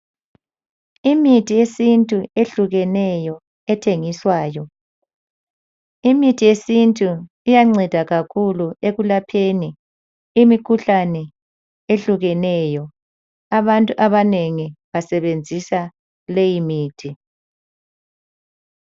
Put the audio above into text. Imithi yesintu ethengiswayo. Imithi yesintu iyanceda kakhuu ekulapheni imikhuhlabe etshiyeneyo. Abantu abanengi basebenzisa leyimithi.